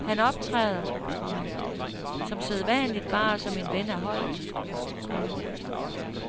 Han optræder, komma som sædvanligt bare som en af holdet, komma